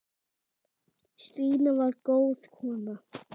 Stína var góð kona.